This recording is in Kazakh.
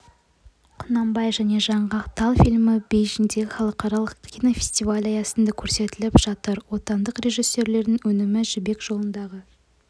құнанбай және жаңғақ тал фильмі бейжіңдегі халықаралық кинофестиваль аясында көрсетіліп жатыр отандық режиссерлердің өнімі жібек жолындағы